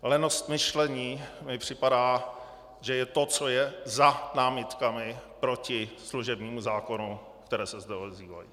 Lenost myšlení mi připadá, že je to, co je za námitkami proti služebnímu zákonu, které se zde ozývají.